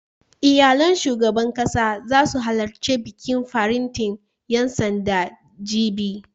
Iyalan shugaban ƙasa zasu halarci bikin faretin ƴan sandan, jibi